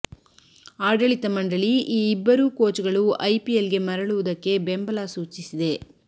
ಆಡಳಿತ ಮಂಡಳಿ ಈ ಇಬ್ಬರೂ ಕೋಚ್ ಗಳು ಐಪಿಎಲ್ ಗೆ ಮರಳುವುದಕ್ಕೆ ಬೆಂಬಲ ಸೂಚಿಸಿದೆ